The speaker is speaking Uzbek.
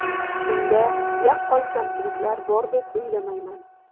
Unda yaqqol kamchiliklar bor deb o‘ylamayman.